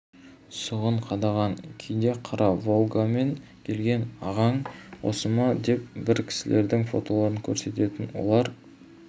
сұғын қадаған кейде қара волгамен келген ағаң осы ма деп бір кісілердің фотоларын көрсететін олар